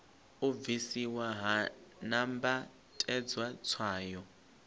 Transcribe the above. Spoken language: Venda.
u bvisiwa ha nambatedzwa tswayo